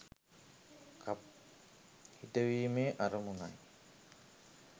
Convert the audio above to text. කප් හිටවීමේ අරමුණයි.